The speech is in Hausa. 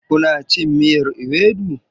Kuna cin miyar ewedu?